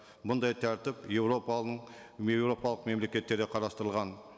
бұндай тәртіп еуропаның еуропалық мемлекеттерде қарастырылған